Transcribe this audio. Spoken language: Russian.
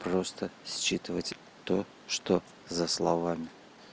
просто считывать то что за словами